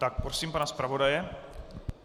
Tak, prosím pana zpravodaje.